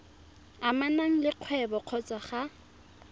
amanang le kgwebo kgotsa ga